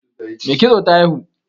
Mai kitso ta haihu